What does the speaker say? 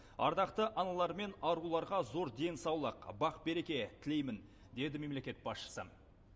ардақты аналар мен аруларға зор денсаулық бақ береке тілеймін деді мемлекет басшысы